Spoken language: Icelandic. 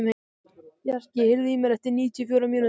Bjarki, heyrðu í mér eftir níutíu og fjórar mínútur.